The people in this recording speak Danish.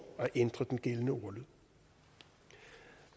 at ændre den gældende ordlyd